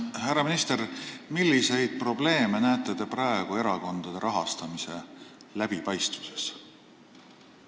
Härra minister, milliseid probleeme te näete praegu erakondade rahastamise läbipaistvuses?